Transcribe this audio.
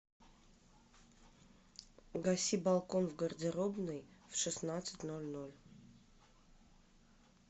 гаси балкон в гардеробной в шестнадцать ноль ноль